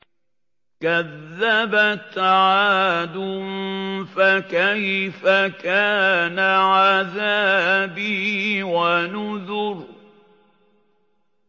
كَذَّبَتْ عَادٌ فَكَيْفَ كَانَ عَذَابِي وَنُذُرِ